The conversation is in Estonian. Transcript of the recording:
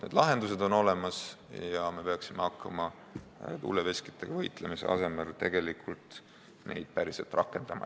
Need lahendused on olemas ja me peaksime hakkama tuuleveskitega võitlemise asemel neid päriselt rakendama.